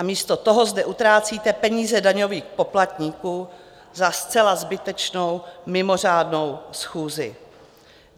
A místo toho zde utrácíte peníze daňových poplatníků za zcela zbytečnou mimořádnou schůzi.